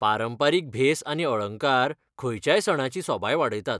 पारंपारीक भेस आनी अळंकार खंयच्याय सणाची सोबाय वाडयतात.